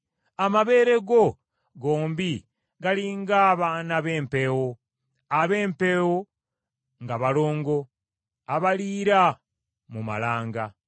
Amabeere go gombi gali ng’abaana b’empeewo, ab’empeewo, nga balongo, abaliira mu malanga.